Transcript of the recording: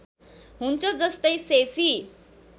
हुन्छ जस्तै शेशी